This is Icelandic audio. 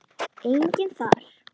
Maður nokkur steig í pontu.